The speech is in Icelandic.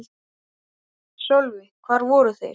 Sölvi: Hvar voru þeir?